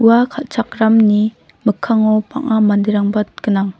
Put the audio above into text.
ua kal·chakramni mikkango bang·a manderangba gnang.